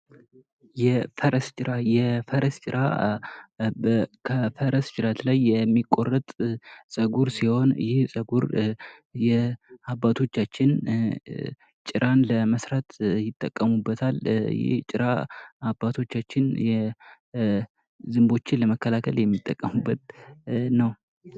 የፈረስ ጭራ፡- የፈረስ ጭራ ከፈረስ ጭረት ላይ የሚቆረጥ ፀጉር ሲሆን ይህ ጸጉር የአባቶቻችን ጭራን ለመስራት ይጠቀሙበታል። ይህ ጭራ አባቶቻችን ዝምቦችን ለመከላከል የሚጠቀሙበት ነው።